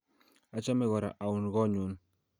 Achame kora aun ko nyun.